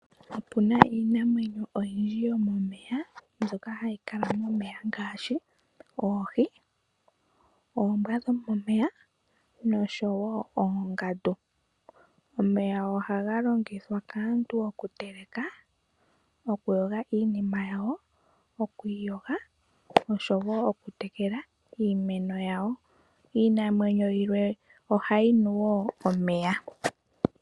Opu na iinamwenyo oyindji yomomeya mbyoka hayi kala momeya ngaashi oohi, oombwa dhomomeya noshowo oongandu. Omeya ohaga longithwa kaantu oku teleka, oku yoga iinima yawo, oku iyoga noshowo oku tekela iimeno yawo. Iinamwenyo yimwe ohayi nu wo omeya.